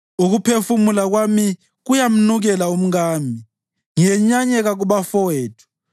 Ukuphefumula kwami kuyamnukela umkami; ngiyenyanyeka kubafowethu.